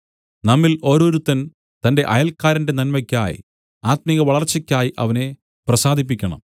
നമ്മിൽ ഓരോരുത്തൻ തന്റെ അയൽക്കാരന്റെ നന്മയ്ക്കായി ആത്മികമായ വളർച്ചയ്ക്കായി അവനെ പ്രസാദിപ്പിക്കണം